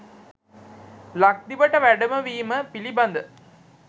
ලක්දිවට වැඩමවීම පිළිබඳ